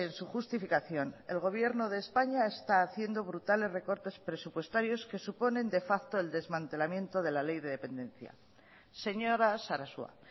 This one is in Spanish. su justificación el gobierno de españa está haciendo brutales recortes presupuestarios que suponen de facto el desmantelamiento de la ley de dependencia señora sarasua